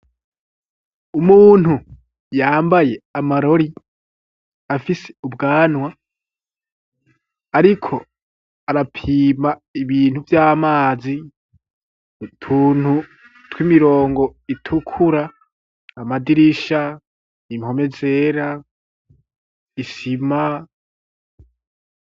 Umuntu yambaye amarori afise ubwanwa ariko arapima ibintu vy'amazi utuntu tw'imirongo itukura amadirisha, impome zera, isima.